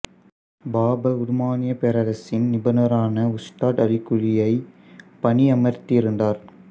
பாபர் உதுமானிய பேரரசின் நிபுணரான உஸ்தாத் அலி குலியை பணி அமர்த்தி இருந்தார்